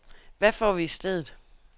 Hvad får vi i stedet.